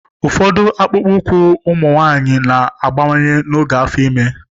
Ụfọdụ akpụkpọ ụkwụ ụmụ nwanyị na-abawanye n'oge afo ime.